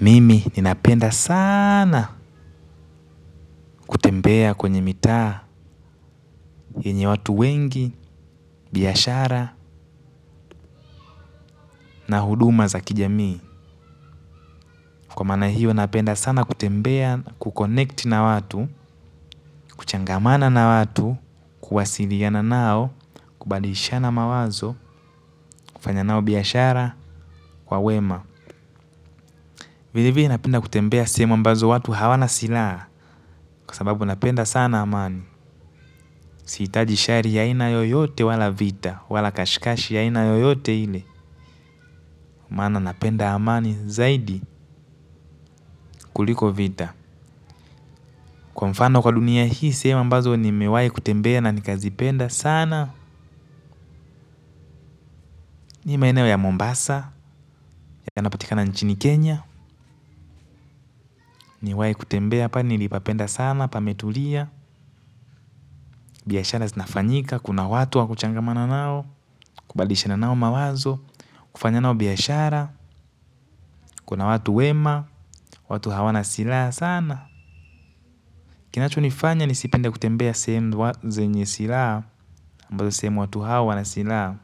Mimi ninapenda sana kutembea kwenye mitaa yenye watu wengi, biyashara na huduma za kijamii. Kwa mana hiyo napenda sana kutembea kukonekti na watu, kuchangamana na watu, kuhasiliana nao, kubadilishana mawazo, kufanya nao biyashara, wawema. Vile vile napenda kutembea sehemu ambazo watu hawana silaa kwa sababu napenda sana amani. Siitaji shari ya aina yoyote wala vita, wala kashikashi ya aina yoyote ile, mana napenda amani zaidi kuliko vita. Kwa mfano kwa dunia hii sehemu ambazo nimewai kutembea na nikazi penda sana, ni maenewo ya Mombasa yanapatika na nchini Kenya, niwai kutembea pa nilipapenda sana, pametulia. Biyashara zinafanyika kuna watu wakuchangamana nao kubadilishanao mawazo kufanya nao biyashara kuna watu wema watu hawana sila sana kinacho nifanya ni sipende kutembea sehemu zenye sila ambazo sehemu watu hawana sila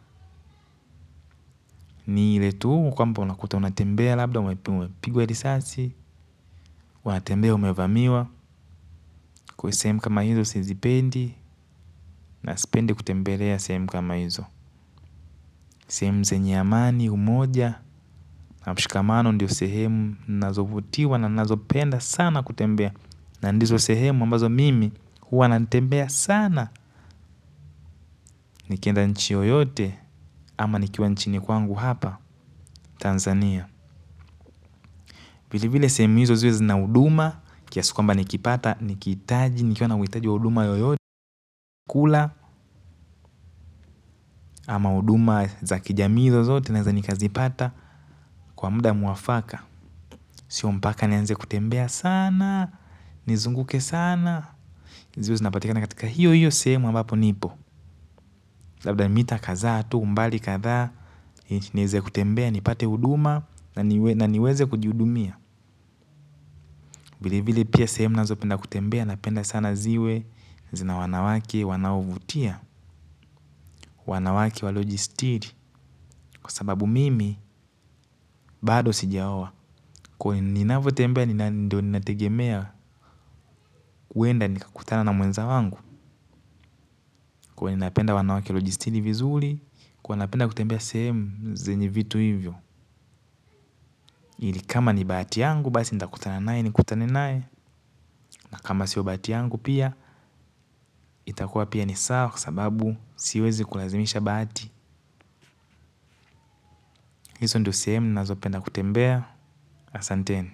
ni ile tu kwamba unakuta unatembea labda unapigwe lisasi unatembea umevamiwa kwe sehemu kama hizo sizipendi na sipende kutembelea sehemu kama hizo sehemu zenye amani umoja na mushikamano ndiyo sehemu nazovutiwa na nazopenda sana kutembea. Na ndizo sehemu ambazo mimi huwa natembea sana. Nikienda nchi yoyote ama nikiwa nchini kwangu hapa Tanzania. Vile vile sehemizo ziwe zinauduma kiasi kuamba nikipata nikitaji nikiona witaji wa uduma yoyote kula ama uduma za kijamii zozote naeza nikazipata kwa muda muwafaka. Sio mpaka nianze kutembea sana nizunguke sana. Ziwe zinapatikana katika hiyo hiyo sehemu ambapo nipo. Labda ni mita kadha tu mbali kadha niweze kutembea ni pate uduma na niweze kujiudumia. Vile vile pia sehemu nazo penda kutembea. Napenda sana ziwe zina wanawake wanaovutia. Wanawake walojistiri kwa sababu mimi bado sijaowa kwa ninafotembea ni nategemea uenda nikakutana na muenza wangu kwa ninapenda wanawake walojistiri vizuli kwa napenda kutembea sehemu zenye vitu hivyo ili kama ni baati yangu basi nita kutana nae ni kutana nae na kama siyo baati yangu pia itakua pia ni sawa kua sababu siwezi kulazimisha baati iso ndio sehemu nazopenda kutembea asante.